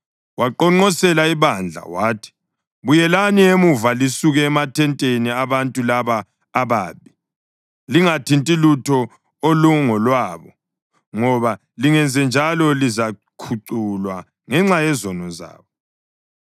Waqonqosela ibandla wathi, “Buyelani emuva lisuke emathenteni abantu laba ababi! Lingathinti lutho olungolwabo ngoba lingenzenjalo lizakhuculwa ngenxa yezono zabo.”